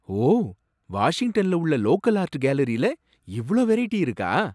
ஓ! வாஷிங்டன்ல உள்ள local art கேலரீல இவ்ளோ வெரைட்டி இருக்கா!